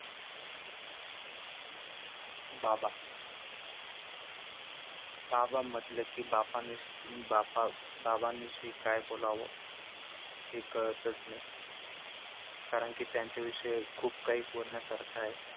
बाबा, बाबा म्हंटले कि बापा बापा~ बाबाविषयी काय बोलाव हे कळतच नाही कारण कि त्यांच्या विषयी खूप काही बोलण्यासारखे आहे.